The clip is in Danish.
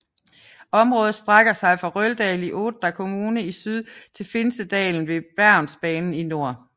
Området strækker sig fra Røldal i Odda kommune i syd til Finsedalen ved Bergensbanen i nord